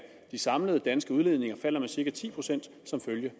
de samlede danske udledninger falder med cirka ti procent som følge